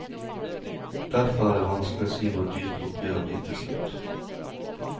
Derfor er det vanskelig å si hvor dyrt oppgjøret blir til slutt.